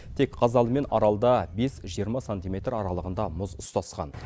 тек қазалы мен аралда бес жиырма сантиметр аралығында мұз ұстасқан